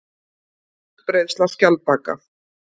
Útbreiðsla skjaldbaka.